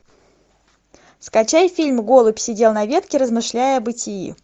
скачай фильм голубь сидел на ветке размышляя о бытии